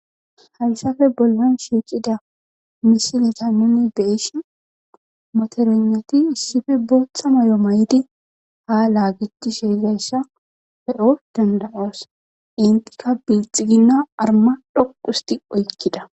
hayssafe bollon shiiqida misineta nuni beishi moternoti issife booththa may7o may7di ha laagecti sheezayssa pe7o dandawoos intika bilxiginna arma dhoqusti oykkida